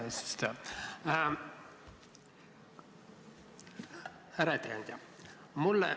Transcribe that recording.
Aitäh, härra eesistuja!